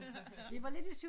Vi var lidt i tvivl